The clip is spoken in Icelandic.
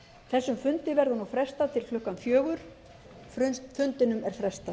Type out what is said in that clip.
þessum fundi verður nú frestað til klukkan fjögur